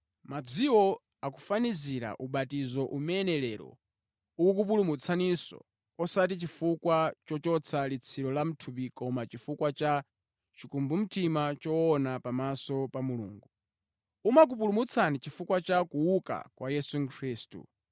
Madziwo akufanizira ubatizo umene lero ukukupulumutsaninso, osati chifukwa chochotsa litsiro la mʼthupi koma chifukwa cha chikumbumtima choona pamaso pa Mulungu. Umakupulumutsani chifukwa cha kuuka kwa Yesu Khristu,